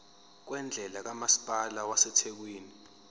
kwendle kamasipala wasethekwini